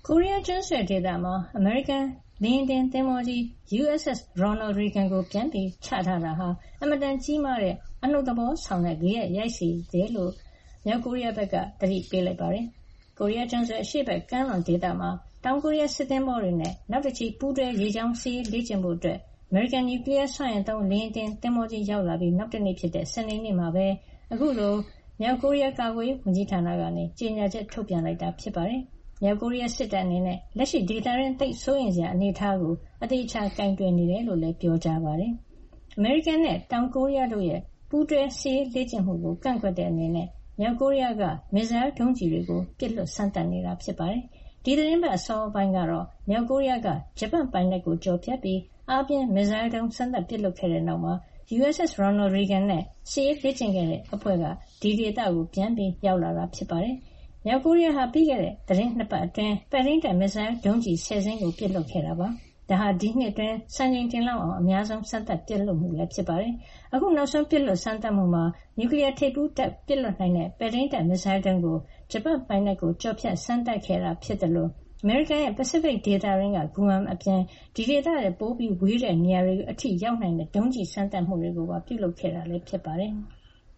ကိုရီးယားကျွန်းဆွယ်ဒေသမှာ အမေရိကန်လေယာဉ်တင် သင်္ဘောကြီး USS Ronald Reagan ကို ပြန်လည်ချထားတာဟာ အင်မတန်ကြီးမားတဲ့ အနှုတ်သဘောဆောင်တဲ့ ဂယက်ရိုက်ခတ်စေတယ်လို့ မြောက်ကိုရီးယားက သတိပေးလိုက်ပါတယ်။ ကိုရီးယားကျွန်းဆွယ် အရှေ့ဘက် ကမ်းလွန်ဒေသမှာ တောင်ကိုရီးယားစစ်သင်္ဘောတွေနဲ့ နောက်တချီ ပူးတွဲ ရေကြောင်းစစ်ရေးလေ့ကျင့်ဖို့ အမေရိကန် နျူကလီယားစွမ်းအင်သုံး လေယာဉ်တင်သင်္ဘောကြီး ရောက်လာပြီး နောက်တနေ့ဖြစ်တဲ့ စနေနေ့မှာပဲ အခုလို မြောက်ကိုရီးယား ကာကွယ်ရေးဝန်ကြီး ဌာနက ကြေညာချက် ထုတ်ပြန်ခဲ့တာ ဖြစ်ပါတယ်။ မြောက်ကိုရီးယား စစ်တပ်အနေနဲ့ လက်ရှိ ဒေသတွင်း သိပ်စိုးရိမ်စရာ အနေထားကို အသေအချာ ကိုင်တွယ်နေကြောင်း ပြောကြားခဲ့တာပါ။ အမေရိကန်နဲ့ တောင်ကိုရီးယားတို့ရဲ့ ပူးတွဲစစ်ရေးလေ့ကျင့်မှုကို ကန့်ကွက်တဲ့အနေနဲ့ မြောက်ကိုရီးယားက မစ်စိုင်းဒုံးကျည်တွေ ပစ်လွှတ်စမ်းသပ် နေတာပါ။ ဒီသီတင်းပတ် အစောပိုင်းကတော့ မြောက်ကိုရီးယားက ဂျပန်ပိုင်နက်ကို ကျော်ဖြတ်ပြီး အားပြင်းမစ်စိုင်းဒုံး စမ်းသပ်ပစ်လွှတ်ခဲ့တဲ့ နောက် USS Ronald Reagan နဲ့ စစ်ရေးလေ့ကျင့်တဲ့ အဖွဲ့အဲဒီဒေသကို ပြန်ရောက်လာတာ ဖြစ်ပါတယ်။ မြောက်ကိုရီးယားဟာ ပြီးခဲ့တဲ့ သီတင်း ၂ ပတ်အတွင်း ပဲ့ထိန်းတပ် မစ်စိုင်းဒုံးကျည် ၁၀ စင်းပစ်လွှတ်ခဲ့တာဖြစ်ပြီး ဒါဟာ ဒီနှစ်အတွင်း စံချိန်တင်လောက်အောင် အများဆုံး စမ်းသပ်ပစ်လွှတ်မှု ဖြစ်ပါတယ်။ အခုနောက်ဆုံးပစ်လွှတ် စမ်းသပ်မှုမှာ နျူကလီယား ထိပ်ဖူးတပ် ပစ်လွှတ်နိုင်တဲ့ ပဲ့ထိန်းတပ် မစ်စိုင်းဒုံး ကို ဂျပန်ပိုင်နက်ကို ကျော်ဖြတ်စမ်းသပ် ပစ်ခတ်ခဲ့တာ ဖြစ်သလို အမေရိကန်ရဲ့ ပစိဖိတ်ဒေသတွင်းက Guam အပြင် အဲဒီဒေသထက် ပိုဝေးတဲ့နေရာတွေ အထိ ရောက်နိုင်တဲ့ ဒုံးကျည်စမ်းသပ်မှုတွေ လုပ်ခဲ့တာ ဖြစ်ပါတယ်။